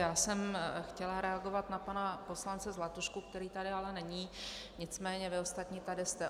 Já jsem chtěla reagovat na pana poslance Zlatušku, který tady ale není, nicméně vy ostatní tady jste.